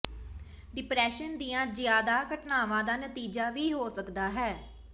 depression ਦੀਆਂ ਜ਼ਿਆਦਾ ਘਟਨਾਵਾਂ ਦਾ ਨਤੀਜਾ ਵੀ ਹੋ ਸਕਦਾ ਹੈ